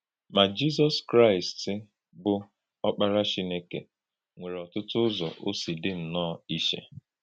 Ma, Jízọs Jízọs Kraịst, bụ́ Ọ́kpárá Chínèkè, nwèrè ọ̀tụ̀tụ̀ ùzò ò sị dì nnọọ ìchè.